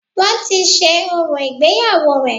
Wọ́n ti ṣe orò ìgbéyàwó rẹ̀